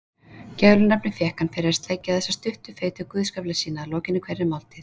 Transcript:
Gælunafnið fékk hann fyrir að sleikja þessa stuttu feitu guðsgaffla sína að lokinni hverri máltíð.